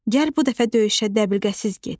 Gəl bu dəfə döyüşə dəbilqəsiz get.